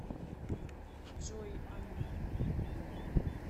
джой а мы